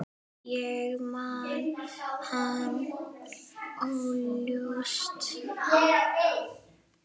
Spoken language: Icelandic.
Ég man hann óljóst.